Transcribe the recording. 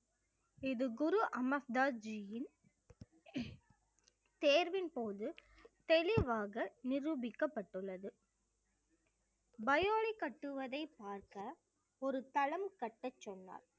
இது குரு அமஸ்தாஜியின் தேர்வின்போது தெளிவாக நிரூபிக்கப்பட்டுள்ளது பயோலி கட்டுவதை பார்க்க ஒரு தளம் கட்டச் சொன்னார்